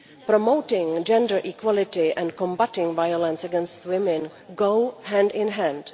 Promoting gender equality and combating violence against women go hand in hand.